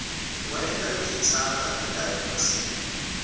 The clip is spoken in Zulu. wayengalikhethanga iphela emasini